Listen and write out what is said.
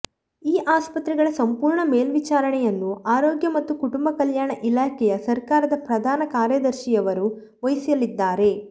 ಈ ಆಸ್ಪತ್ರೆಗಳ ಸಂಪೂರ್ಣ ಮೇಲ್ವಿಚಾರಣೆಯನ್ನು ಆರೋಗ್ಯ ಮತ್ತು ಕುಟುಂಬ ಕಲ್ಯಾಣ ಇಲಾಖೆಯ ಸರ್ಕಾರದ ಪ್ರಧಾನ ಕಾರ್ಯದರ್ಶಿಯವರು ವಹಿಸಲಿದ್ದಾರೆ